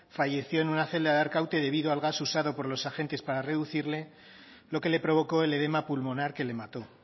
falleció en una celda de arkaute debido al gas usado por los agentes para reducirle lo que le provocó el edema pulmonar que le mató